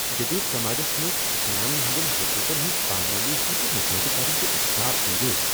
جدید سماجس منٛز زنانن ہٕنٛدٮ۪ن حقوقن ہٕنز پامٲلی ہُند مشاہدٕ کرُن چُھ اشتعال انگیز۔